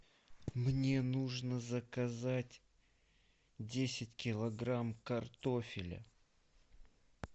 мне нужно заказать десять килограмм картофеля